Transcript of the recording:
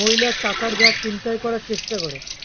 মহিলার টাকার ব্যাগ ছিনতাই করার চেষ্টা করে